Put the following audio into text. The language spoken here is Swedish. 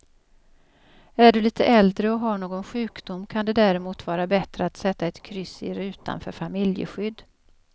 Är du lite äldre och har någon sjukdom kan det därmot vara bättre att sätta ett kryss i rutan för familjeskydd.